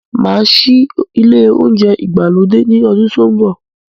Máa ṣí ilé oúnjẹ ìgbàlódé ní ọdún tó n bọ